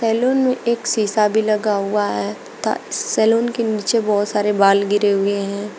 Salon में एक शीशा भी लगा हुआ है तथा सैलून के नीचे बहुत सारे बाल गिरे हुए हैं।